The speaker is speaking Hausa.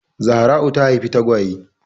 Zahra'u ta haifi tagwaye.